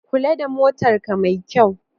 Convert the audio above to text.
Kula da motarka mai kyau.